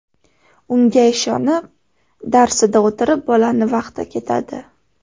Unga ishonib, darsida o‘tirib bolani vaqti ketadi.